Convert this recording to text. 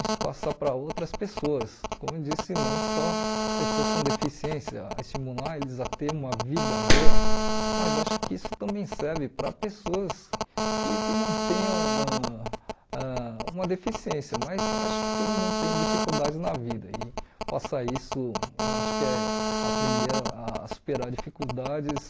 isso passar para outras pessoas, como eu disse, não só pessoas com deficiência, estimular eles a ter uma vida boa, mas acho que isso também serve para pessoas que que não tenham ãh ãh uma deficiência, mas acho que todo mundo tem dificuldades na vida e passar isso, eu acho que é aprender a a superar dificuldades